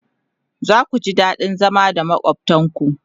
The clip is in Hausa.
zaku ji daɗin zama da makwaftan ku